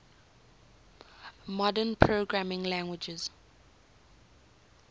modern programming languages